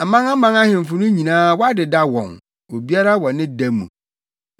Amanaman ahemfo no nyinaa wɔadeda wɔn obiara wɔ ne da mu.